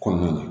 Kɔnɔna na